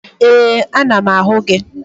Ee, ana m ahụ gị